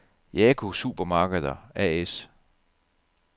Jaco Supermarkeder A/S